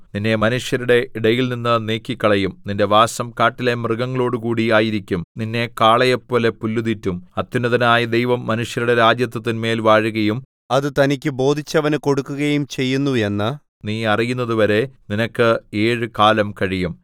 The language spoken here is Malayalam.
നിന്നെ മനുഷ്യരുടെ ഇടയിൽനിന്ന് നീക്കിക്കളയും നിന്റെ വാസം കാട്ടിലെ മൃഗങ്ങളോടുകൂടി ആയിരിക്കും നിന്നെ കാളയെപ്പോലെ പുല്ല് തീറ്റും അത്യുന്നതനായ ദൈവം മനുഷ്യരുടെ രാജത്വത്തിന്മേൽ വാഴുകയും അത് തനിക്ക് ബോധിച്ചവന് കൊടുക്കുകയും ചെയ്യുന്നു എന്നു നീ അറിയുന്നതുവരെ നിനക്ക് ഏഴുകാലം കഴിയും